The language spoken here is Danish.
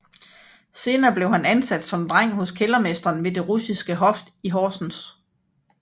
Senere blev han ansat som dreng hos kældermesteren ved det russiske hof i Horsens